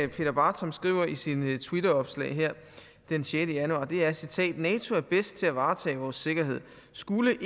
peter bartram skriver her i sine twitteropslag den sjette januar er og jeg citerer nato er bedst til at varetage vores sikkerhed skulle